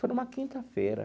Foi numa quinta-feira.